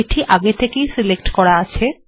এটি আগে থেকে ই সিলেক্ট করা আছে